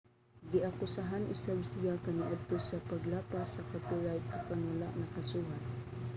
giakusahan usab siya kaniadto sa paglapas sa copyright apan wala nakasuhan